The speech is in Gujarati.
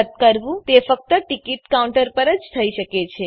રદ કરવું તે ફક્ત ટીકીટ કાઉન્ટર પર જ થઇ શકે છે